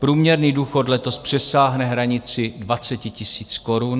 Průměrný důchod letos přesáhne hranici 20 000 korun.